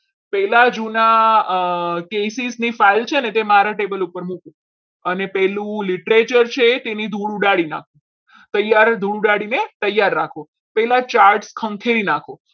પહેલા જુના અમ cases ની file છે ને તે મારા table ઉપર મૂકો અને પહેલું છે તેની ધૂળ ઉડાડી નાખો તૈયાર ધૂળ ઉડાડીને તૈયાર રાખો પેલા charge ખંખેરી નાખો.